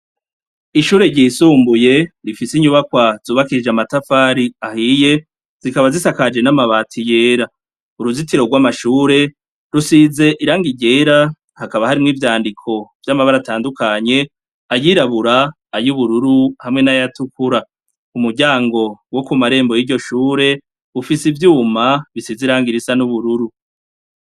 Ishure ryisumbuye rifise inyubakwa zubakirije amatafari ahiye zikaba zisakaje n'amabati yera uruzitiro rw'amashure rusize iranga iryera hakaba harimwo ivyandiko vy'amabara atandukanye ayirabura ayubururu hamwe n'ayatukura umuryango wo ku marembo y'iryo shure ufise ivyuma bisize iranga irisa n'ubururu.